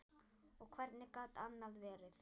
Og hvernig gat annað verið?